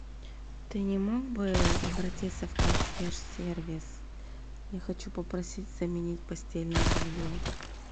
ты не мог бы обратиться в консьерж сервис я хочу попросить заменить постельное белье